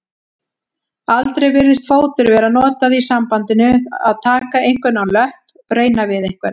Aldrei virðist fótur vera notað í sambandinu taka einhvern á löpp reyna við einhvern.